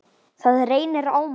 Það reynir á mann!